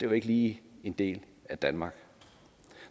jo ikke lige en del af danmark